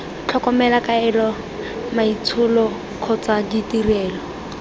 tlhokomelo kaelo maitsholo kgotsa ditirelo